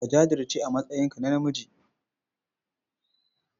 Ka jajirce a matsayinka na namiji.